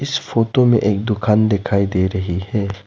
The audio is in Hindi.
इस फोटो में एक दुकान दिखाई दे रही है।